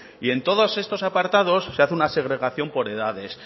y en todos estos apartados se hace una segregación por edades